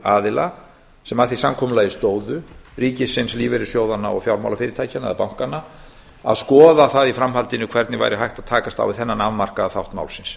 aðila sem að því samkomulagi stóðu ríkisins lífeyrissjóðanna og fjármálafyrirtækjanna eða bankanna að skoða það í framhaldinu hvernig væri hægt að takast á við þennan afmarkaða þátt málsins